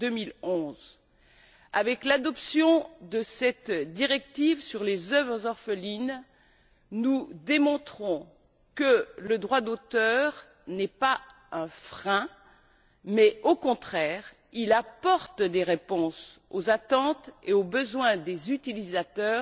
2011. Avec l'adoption de cette directive sur les œuvres orphelines, nous démontrons que le droit d'auteur n'est pas un frein mais qu'au contraire, il apporte des réponses aux attentes et aux besoins des utilisateurs